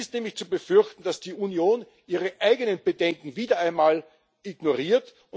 Es ist nämlich zu befürchten, dass die Union ihre eigenen Bedenken wieder einmal ignoriert.